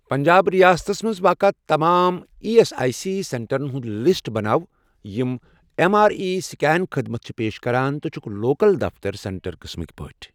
پنٛجاب رِیاستس مَنٛز واقعہٕ تمام ایی ایس آٮٔۍ سی سینٹرَن ہُنٛد لسٹ بناو یِم ایٚم آر آی سٕکین خدمت چھِ پیش کران تہٕ چھِکھ لوکَل دفتر سینٹر قٕسمٕکۍ پٲٹھۍ۔